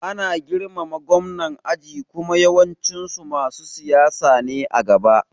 Ana girmama Gwamnan aji kuma yawancin su masu siyasa ne a gaba